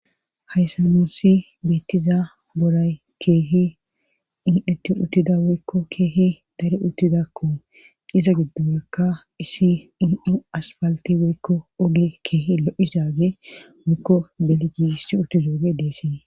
hayssa moossi beettiza boray keehi in7etti uttida woykko keehi dare uttidakko iza giddoaka isi in7u aspalti woykko oge keehi lo7izaage woykko belgiissi uttizooge deesee